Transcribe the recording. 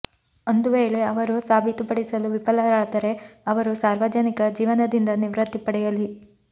ಒಂದು ವೇಳೆ ಅವರು ಸಾಬೀತು ಪಡಿಸಲು ವಿಫಲರಾದರೆ ಅವರು ಸಾರ್ವಜನಿಕ ಜೀವನದಿಂದ ನಿವೃತ್ತಿ ಪಡೆಯಲಿ